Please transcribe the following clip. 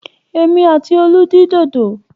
Èmi àti Olú dín dòdò.